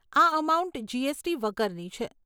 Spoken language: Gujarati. આ અમાઉન્ટ જીએસટી વગરની છે.